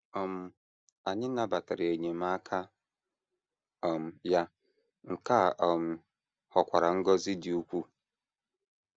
um Anyị nabatara enyemaka um ya, nke a um ghọkwara ngọzi dị ukwuu.